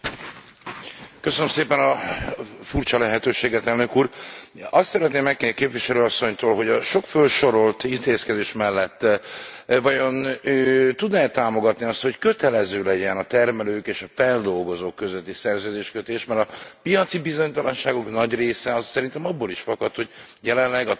Azt szeretném megkérdezni Képviselő Asszonytól, hogy a sok fölsorolt intézkedés mellett vajon tudná e támogatni azt, hogy kötelező legyen a termelők és a feldolgozók közötti szerződéskötés, mert a piaci bizonytalanságok nagy része szerintem abból is fakad, hogy jelenleg a tagországok csak a felében működik ez a kötelező szerződési rendszer.